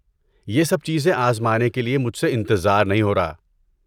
یہ سب چیزیں آزمانے کے لیے مجھ سے انتظار نہیں ہو رہا۔